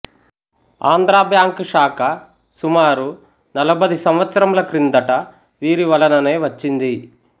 Andhra bank శాఖ సుమారు నలుబది సంవత్సరముల క్రిందట వీరి వలననే వచ్చింది